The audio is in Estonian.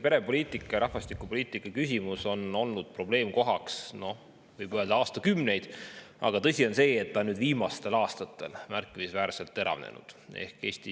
Pere- ja rahvastikupoliitika küsimus on olnud, võib öelda, probleemkoht aastakümneid, aga tõsi on see, et viimastel aastatel on see märkimisväärselt teravnenud.